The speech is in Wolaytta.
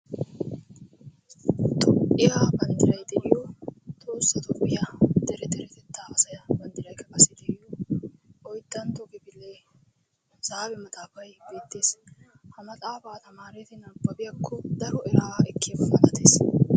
Toophiyaa banddiray de'iyo Tohossa Toophiyaa Deretetta asay banddiraykka de'iyo oyddantto kifiliyaa hisaabe maxaafay beettees. ha maxaafa tamareti nabbabiyaako daro era ekkiyaaba malatees.